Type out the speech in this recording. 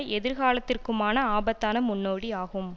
எதிர்காலத்திற்குமான ஆபத்தான முன்னோடி ஆகும்